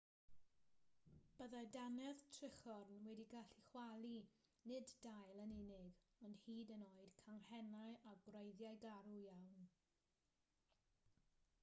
byddai dannedd trichorn wedi gallu chwalu nid dail yn unig ond hyd yn oed canghennau a gwreiddiau garw iawn